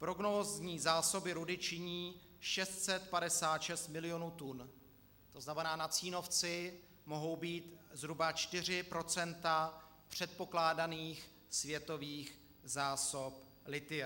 Prognózní zásoby rudy činí 656 milionů tun, to znamená, na Cínovci mohou být zhruba 4 % předpokládaných světových zásob lithia.